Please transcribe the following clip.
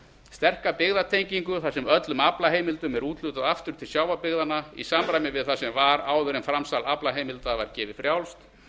sterka byggðatengingu þar sem öllum aflaheimildum er úthlutað aftur til sjávarbyggðanna í samræmi við það sem var áður en framsal aflaheimilda var gefið frjálst